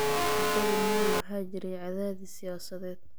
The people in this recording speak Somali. Muddadii Moi waxaa jiray cadaadis siyaasadeed.